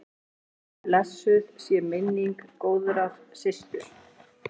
Blessuð sé minning góðrar systur.